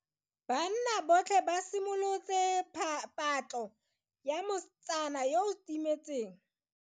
Banna botlhê ba simolotse patlô ya mosetsana yo o timetseng.